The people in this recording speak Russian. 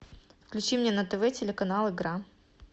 включи мне на тв телеканал игра